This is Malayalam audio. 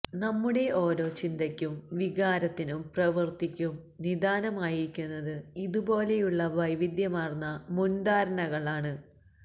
നമ്മുടെ ഓരോ ചിന്തക്കും വികാരത്തിനും പ്രവൃത്തിക്കും നിദാനമായിരിക്കുന്നത് ഇതുപോലെയുള്ള വൈവിധ്യമാര്ന്ന മുന്ധാരണകള് ആണ്